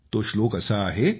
तो श्लोक असा आहे